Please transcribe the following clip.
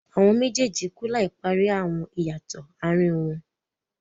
Àwọn méjèèjì klú láì parí àwọn ìyàtọ̀ àárín wọn.